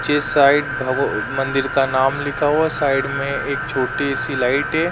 चे साइड भवो मंदिर का नाम लिखा हुआ है साइड में एक छोटी-सी लाइट है।